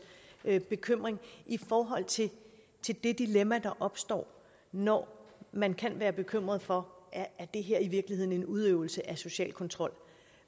bekymring i forhold til det dilemma der opstår når man kan være bekymret for om det her i virkeligheden er en udøvelse af social kontrol